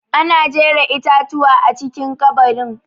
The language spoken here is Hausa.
Ana jera itatuwa a cikin ƙabarin.